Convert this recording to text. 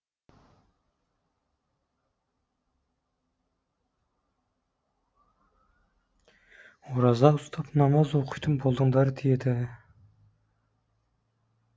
ораза ұстап намаз оқитын болыңдар деді